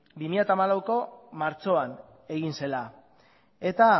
bi mila hamalauko martxoan egin zela eta